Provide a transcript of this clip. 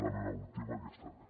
la meva última que ja està bé